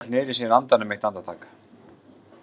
Hún hélt niðri í sér andanum eitt andartak.